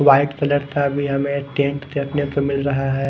White colour का भी हमें टेंट देखने को मिल रहा है।